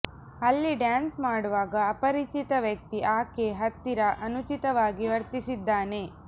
ಅಲ್ಲಿ ಡ್ಯಾನ್ಸ್ ಮಾಡುವಾಗ ಅಪರಿಚಿತ ವ್ಯಕ್ತಿ ಆಕೆ ಹತ್ತಿರ ಅನುಚಿತವಾಗಿ ವರ್ತಿಸಿದ್ದಾನೆ